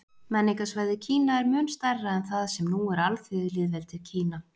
Menningarsvæðið Kína er mun stærra en það sem nú er Alþýðulýðveldið Kína.